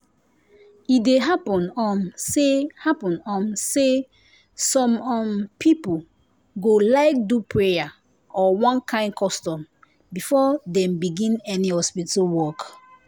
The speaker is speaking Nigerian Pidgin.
e dey happen um say happen um say some um people go like do prayer or one kind custom before dem begin any hospital work